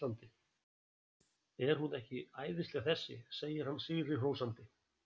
Er hún ekki æðisleg þessi? segir hann sigri hrósandi.